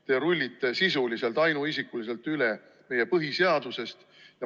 Te rullite sisuliselt ainuisikuliselt meie põhiseadusest üle.